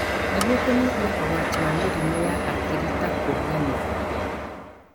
Nĩguo kũnyihia ũgwati wa mĩrimũ ya hakiri ta kũriganĩrwo.